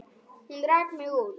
Hún rak mig út.